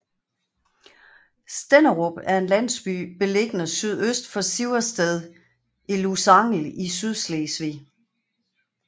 Stenderup er en landsby beliggende sydøst for Siversted i Lusangel i Sydslesvig